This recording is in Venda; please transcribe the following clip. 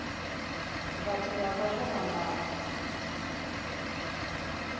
vhathu vha vha vho ambara